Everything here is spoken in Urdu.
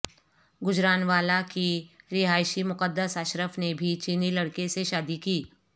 گجرانوالہ کی رہائشی مقدس اشرف نے بھی چینی لڑکے سے شادی کی